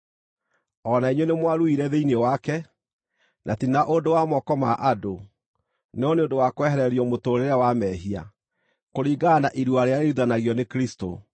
O na inyuĩ nĩmwaruire thĩinĩ wake, na ti na ũndũ wa moko ma andũ, no nĩ ũndũ wa kwehererio mũtũũrĩre wa mehia, kũringana na irua rĩrĩa rĩruithanagio nĩ Kristũ.